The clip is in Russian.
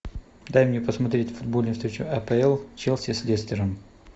дай мне посмотреть футбольную встречу апл челси с лестером